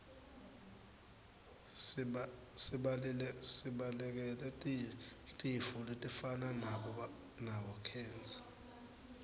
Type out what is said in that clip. sibalekele tifo letifana nabo khensa